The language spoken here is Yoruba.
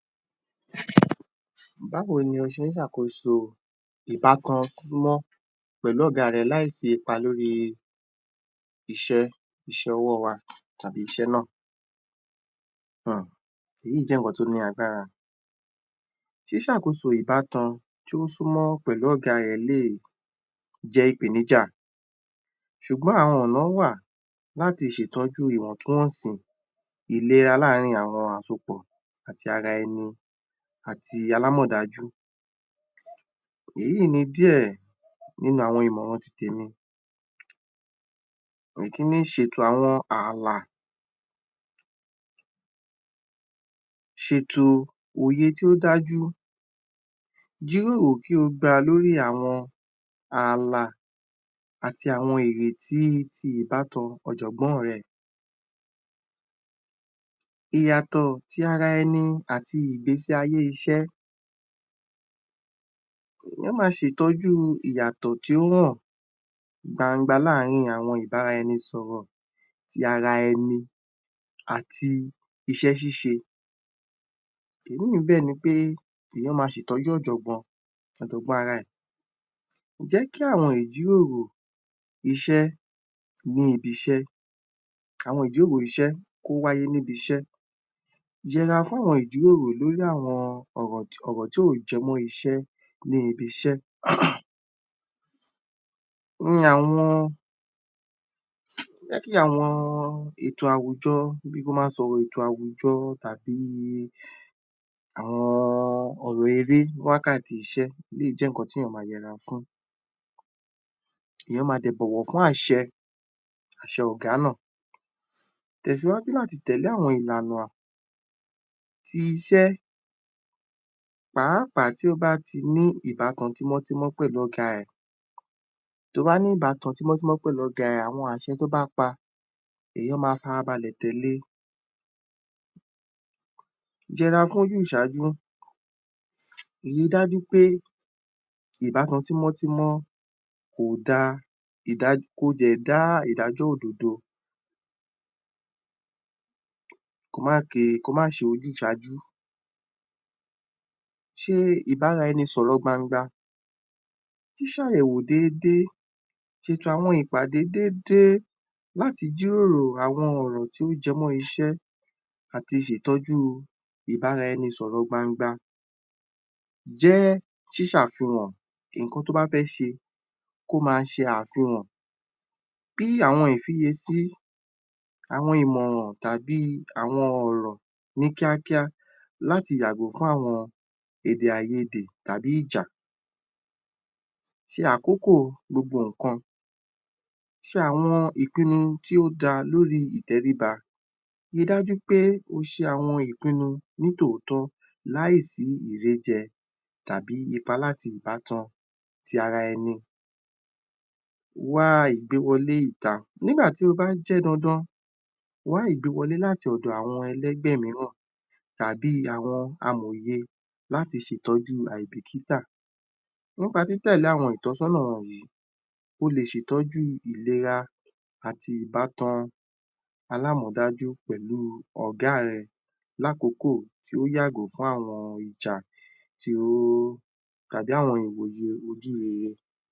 Ghhh